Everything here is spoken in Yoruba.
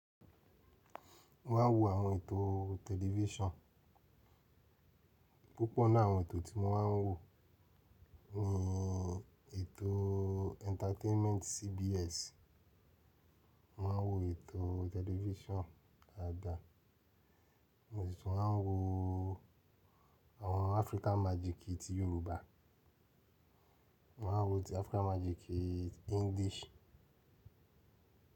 Mo máa ń wo àwọn ètò tẹlifíṣàn. Púpọ̀ ní àwọn ètò tí mo máa ń wò ní ètò entertainment CBS, mo máa ń wo ètò tẹlifisan àgbà, mo sì máa ń wo àwọn African magic ti Yorùbá, mó máa ń wo ti African magic English.